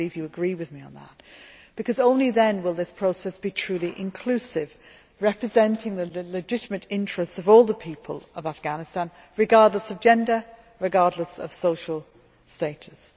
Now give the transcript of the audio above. I believe you agree with me on that, because only then will this process be truly inclusive, representing the legitimate interests of all the people of Afghanistan, regardless of gender, regardless of social status.